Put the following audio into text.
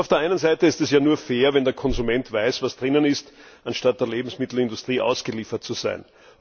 Auf der einen Seite ist es ja nur fair, wenn der Konsument weiß, was darin enthalten ist, anstatt der Lebensmittelindustrie ausgeliefert zu sein.